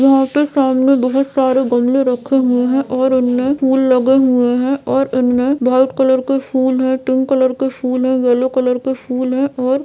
यहां पे सामने बहुत सारे गमले रखे हुए है ओर उनमे फूल लगे हुए है ओर इनमे व्हाइट कलर के फूल है पिंक कलर के फूल है येलो कलर के फूल है ओर--